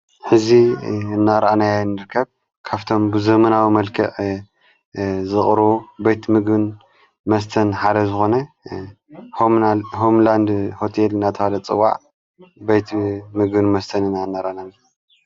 ሕዙ እናራኣናይ ንርከብ ካብቶም ብዘመናዊ መልክቕ ዝቕሩ በቲ ምግን መስተን ሓደ ዝኾነ ሆምላንድ ሁቴል ናተሃለ ጽዋዕ በይቲ ምግን መስተንና እነራናን።